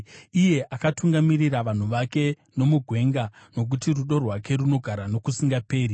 iye akatungamirira vanhu vake nomugwenga, Nokuti rudo rwake runogara nokusingaperi.